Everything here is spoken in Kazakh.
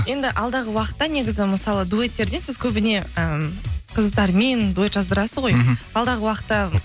енді алдағы уақытта негізі мысалы дуэттерден сіз көбіне ы қыздармен дуэт жаздырасыз ғой мхм алдағы уақытта